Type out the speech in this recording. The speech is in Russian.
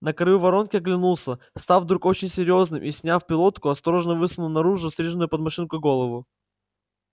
на краю воронки оглянулся став вдруг очень серьёзным и сняв пилотку осторожно высунул наружу стриженную под машинку голову